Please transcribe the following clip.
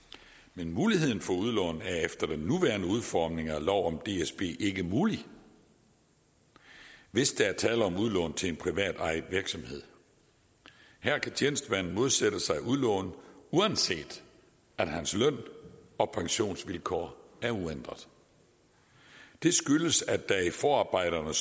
men muligheden for udlån er efter den nuværende udformning af lov om dsb ikke mulig hvis der er tale om udlån til en privatejet virksomhed her kan tjenestemanden modsætte sig udlånet uanset at hans løn og pensionsvilkår er uændrede det skyldes at der står i forarbejderne